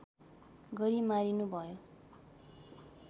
गरी मारिनुभयो